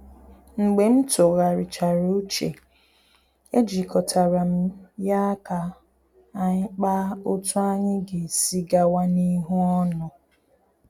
Mgbe m tụgharichara uche, e jikọtara m ya ka anyi kpaa otú anyị ga-esi gawa n’ihu ọnụ